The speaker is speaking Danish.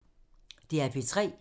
DR P3